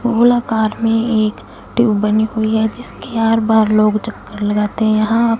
गोलाकार में एक ट्यूब बनी हुई है जिसके आर पार लोग चक्कर लगाते यहां--